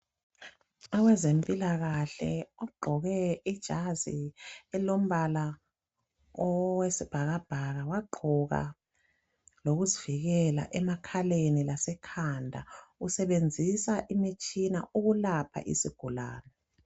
abezempilakahle bagqoke izazi elilombala owesibhakabhaka wagqoka lokokuzivikela emakhaleni lasekhanda usebenzisa imitshina ukulapha isigulane